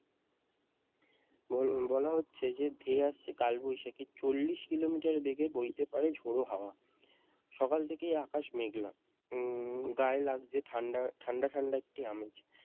বল~ বলা হচ্ছে যে ধেয়ে আসছে কালবৈশাখী চল্লিশ কিলোমিটার বেগে বইতে পারে ঝোড়ো হাওয়া সকাল থেকেই আকাশ মেঘলা গায়ে লাগছে ঠাণ্ডা ঠাণ্ডা ঠাণ্ডা একটি আমেজ